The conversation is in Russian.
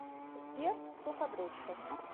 сбер суходрочка